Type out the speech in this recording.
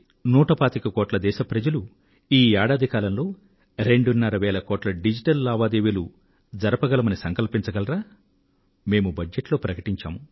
నూట పాతిక కోట్ల మంది దేశ ప్రజలు ఈ ఏడాది కాలంలో రెండున్నర వేల కోట్ల డిజిటల్ లావాదేవీలు జరపగలమని సంకల్పించగలరా మేము బడ్జెట్ లో ప్రకటించాం